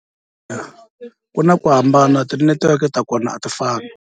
Ku na ku hambana tinetiweke ta kona a ti fani.